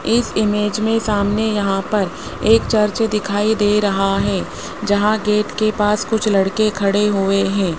इस इमेज में सामने यहां पर एक चर्च दिखाई दे रहा है जहां गेट के पास कुछ लड़के खड़े हुए हैं।